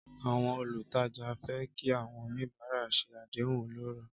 Àwọn olùtajà fẹ́ kí àwọn oníbàárà ṣe àdéhùn ọlọ́rọ̀.